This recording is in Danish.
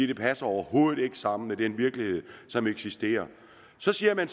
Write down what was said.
det passer overhovedet ikke sammen med den virkelighed som eksisterer så siger man